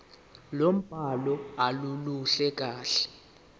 lombhalo aluluhle kahle